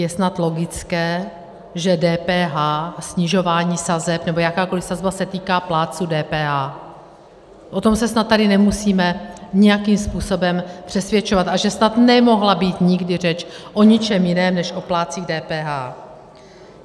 Je snad logické, že DPH, snižování sazeb, nebo jakákoliv sazba, se týká plátců DPH, o tom se snad tady nemusíme nijakým způsobem přesvědčovat, a že snad nemohla být nikdy řeč o ničem jiném než o plátcích DPH.